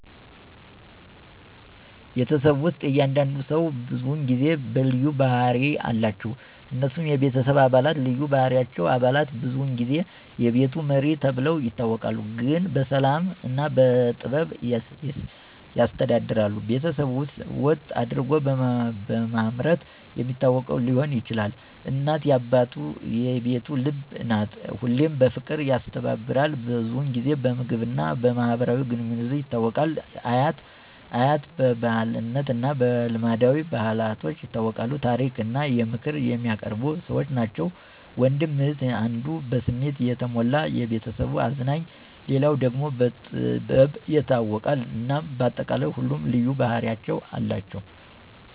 ቤተሰብ ውስጥ እያንዳንዱ ሰው ብዙውን ጊዜ በልዩ ባህሪ አለቸው። እነሱም፦ የቤተሰብ አባላት ልዩ ባህሪዎች • አባት : ብዙውን ጊዜ "የቤቱ መሪ" ተብሎ ይታወቃል፤ ግን በሰላም እና በጥበብ ያስተዳድራል። በቤተሰብ ቀጥ አደርጎ በማምረት የሚታወቅ ሊሆን ይችላል። • እናት : "የቤቱ ልብ" ናት፤ ሁሉንም በፍቅር ያስተባብራል። ብዙውን ጊዜ በምግብ እና በማህበራዊ ግንኙነቶች ይታወቃል። • አያት/አያት : በብልህነት እና በልማዳዊ ብልሃቶች ይታወቃሉ፤ ታሪክ እና ምክር የሚያቀርቡ ሰዎች ናቸው። • ወንድም/እህት : አንዱ በስሜት የተሞላ (የቤተሰቡ አዝናኝ)፣ ሌላው ደግሞ በጥበብ ይታወቃል። እናም በአጠቃላይ ሁሉም ልዩ ባህርያት አሏቸው።